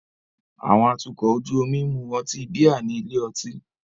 Àwọn atukọ̀ ojú omi ń mu ọtí bíà ní ilé ọtí.